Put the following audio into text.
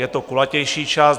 Je to kulatější čas.